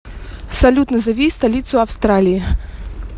салют назови столицу австралии